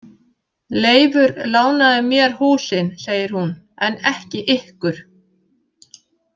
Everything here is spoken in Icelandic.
Leifur lánaði mér húsin, segir hún, „en ekki ykkur“